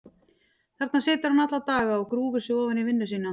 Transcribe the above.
Þarna situr hann alla daga og grúfir sig ofan í vinnu sína.